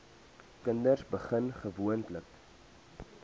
kinders begin gewoonlik